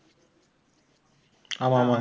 ஆமாம், ஆமாம்.